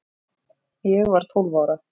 Ég var tólf ára